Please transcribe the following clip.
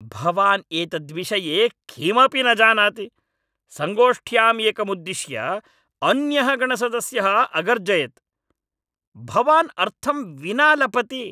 भवान् एतद्विषये किमपि न जानाति, सङ्गोष्ठ्याम् एकमुद्दिश्य अन्यः गणसदस्यः अगर्जयत्। "भवान् अर्थं विना लपति"।